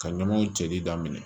Ka ɲamaw cɛli daminɛ